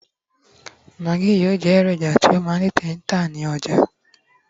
Maggi yíò ma je eroja ti o ma n tete ta ní ọjà